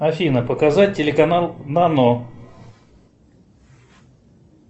афина показать телеканал нано